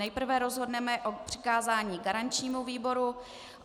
Nejprve rozhodneme o přikázání garančnímu výboru.